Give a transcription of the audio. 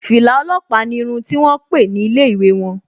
Fìlà ọlọ́pàá ni irun ti wón pè ní ilé ìwé won